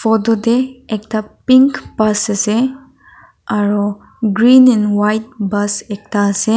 photo tae ekta pink bus ase aru green and white bus ekta ase.